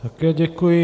Také děkuji.